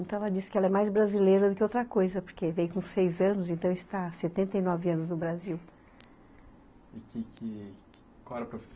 Então, ela disse que ela é mais brasileira do que outra coisa, porque veio com seis anos, então está há setenta e nove anos no Brasil Qual era a profissão